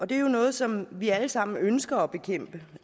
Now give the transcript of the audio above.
det er jo noget som vi alle sammen ønsker at bekæmpe